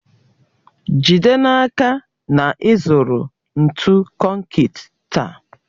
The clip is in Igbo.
Jide n'aka na ị zụrụ ntụ konkịtị taa